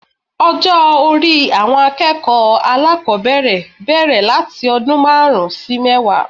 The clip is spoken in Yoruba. Ọjó orí àwọn akéèkòó alákòbéèrè béèrè láti ọdún máàrún sí mẹ́wàá